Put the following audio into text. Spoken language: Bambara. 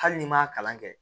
Hali n'i m'a kalan kɛ